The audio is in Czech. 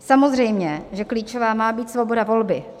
Samozřejmě že klíčová má být svoboda volby.